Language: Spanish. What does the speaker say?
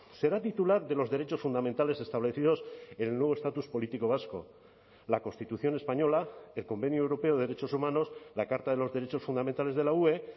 será titular de los derechos fundamentales establecidos en el nuevo estatus político vasco la constitución española el convenio europeo de derechos humanos la carta de los derechos fundamentales de la ue